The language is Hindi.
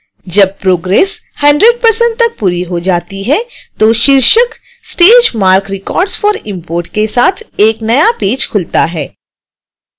जब प्रोग्रेस 100% तक पूरी हो जाती है तो शीर्षक stage marc records for import के साथ एक नया पेज खुलता है